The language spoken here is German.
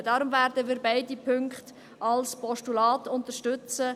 Deshalb werden wir beide Punkte als Postulat unterstützen.